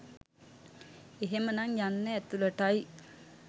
එහෙමනම් යන්න ඇතුළට."යි